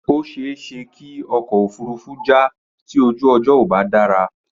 Ó ṣe é ṣe kí ọkọ̀ òfurufú já tí ojú ọjọ́ ò bá dára.